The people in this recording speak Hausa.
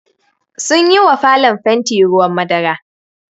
Sunyi wa falon fanti ruwan madara.